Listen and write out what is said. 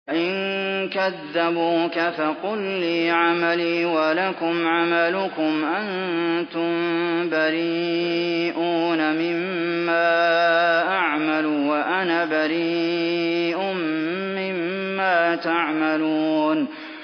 وَإِن كَذَّبُوكَ فَقُل لِّي عَمَلِي وَلَكُمْ عَمَلُكُمْ ۖ أَنتُم بَرِيئُونَ مِمَّا أَعْمَلُ وَأَنَا بَرِيءٌ مِّمَّا تَعْمَلُونَ